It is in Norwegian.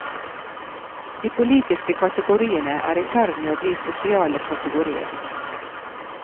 De politiske kategoriene er i ferd med å bli sosiale kategorier.